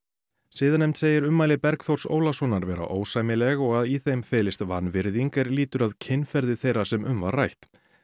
siðanefnd segir ummæli Bergþórs Ólasonar vera ósæmileg og að í þeim felist vanvirðing er lýtur að kynferði þeirra sem um var rætt